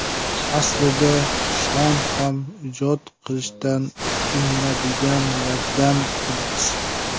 Aslida Shon ham ijod qilishdan tinadiganlardan emas.